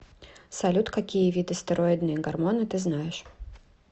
салют какие виды стероидные гормоны ты знаешь